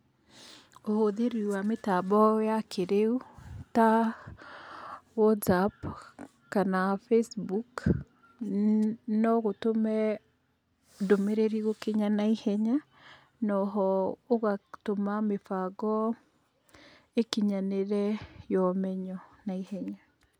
Ũhũthĩri wa mĩtambo ya kĩrĩu ta Whatsapp, kana Facebook no gũtũme ndũmĩrĩri gũkinya naihenya, na o ho ũgatũma mĩbango ĩkinyanĩre ya ũmenyo naihenya.